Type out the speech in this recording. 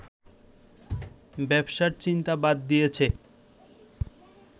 ব্যবসার চিন্তা বাদ দিয়েছে